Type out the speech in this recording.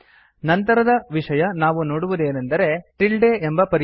ನಂತರದ ವಿಷಯ ನಾವು ನೋಡುವುದೆಂದರೆ ಟಿಲ್ಡೆ ಎಂಬ ಪರ್ಯಾಯ